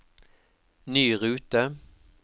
ny rute